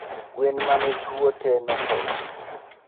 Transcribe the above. Gwen mane tuo tee nothoo